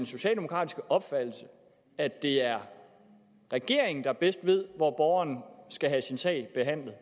socialdemokratiske opfattelse at det er regeringen der bedst ved hvor borgeren skal have sin sag behandlet og